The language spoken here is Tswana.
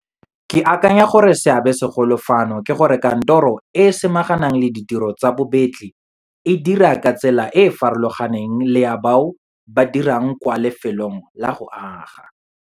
Ke akanya gore seabesegolo fano ke gore kantoro e e samaganang le ditiro tsa bobetli e dira ka tsela e e farologaneng le ya bao ba dirang kwa lefelong la go aga.